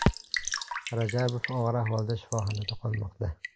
Rajabov og‘ir ahvolda shifoxonada qolmoqda.